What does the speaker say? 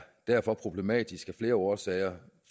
derfor problematisk af flere årsager